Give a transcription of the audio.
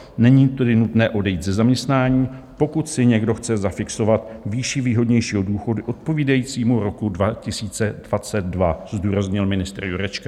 Není tedy nutné odejít ze zaměstnání, pokud si někdo chce zafixovat výši výhodnějšího důchodu odpovídajícímu roku 2022, zdůraznil ministr Jurečka.